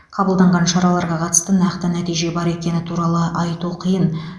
қабылданған шараларға қатысты нақты нәтиже бар екені туралы айту қиын